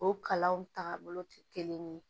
O kalanw tagabolo tɛ kelen ye